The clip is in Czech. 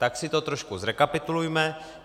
Tak si to trošku zrekapitulujme.